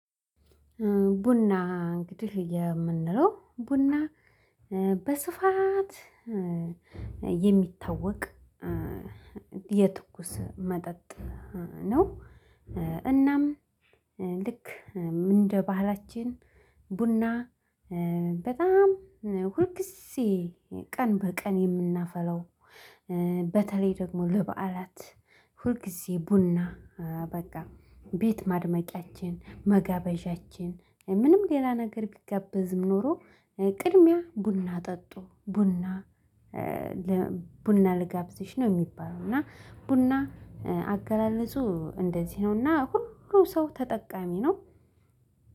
ቡና እንግዲህ የምንለው ቡና በስፋት የሚታወቅ የትኩስ መጠጥ ነው። እናም ልክ እንደ ባህላችን ቡና በጣም ሁልጊዜ ቀን በቀን የምናፈለው። በተለይ ደግሞ ለበዓላት ሁልጊዜ ቡና በቃ ቤት ማድመቂያችን መጋበዣችን ምንም ሌላ ነገር ቢገብዝም ኖሮ ቅድሚያ ቡና ጠጡ። ቡና ልጋብዝሽ ነው የሚባለው እና ቡና አገላለጹ እንደዚህ ነውና ሁሉ ሰው ተጠቃሚ ነው።